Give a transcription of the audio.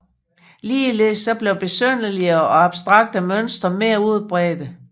Ligeledes blev besynderligere og abstrakte mønstre mere udbredte